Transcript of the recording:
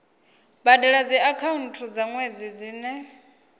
badela dziakhaunthu dza nwedzi dzine